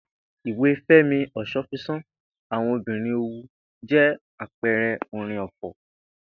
Ìwé Fé̩mi Os̩ófisàn ‘Àwo̩n Obìnrin Òwu’ jé̩ àpe̩e̩ré̩ orin ò̩fò̩